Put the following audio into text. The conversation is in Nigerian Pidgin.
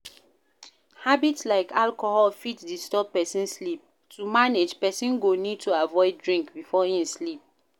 Habits like taking alcohol fit disturb person sleep, to manage, person go need to avoid drink before im sleep